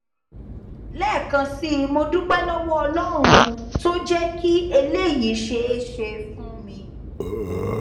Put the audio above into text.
lẹẹkan sí i mo dúpẹ lọwọ ọlọrun tó jẹ kí eléyìí ṣeé ṣe fún mi